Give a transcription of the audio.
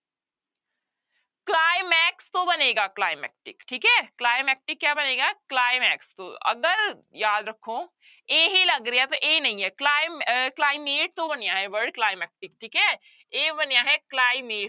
Climax ਤੋਂ ਬਣੇਗਾ climactic ਠੀਕ ਹੈ climactic ਕਿਆ ਬਣੇਗਾ climax ਤੋਂ, ਅਗਰ ਯਾਦ ਰੱਖੋ ਇਹ ਲੱਗ ਪਰ ਇਹ ਨਹੀਂ ਹੈ ਕਲਾਈ ਅਹ climate ਤੋਂ ਬਣਿਆ ਹੈ word climactic ਠੀਕ ਹੈ ਇਹ ਬਣਿਆ ਹੈ ਕਲਾਈਮੇ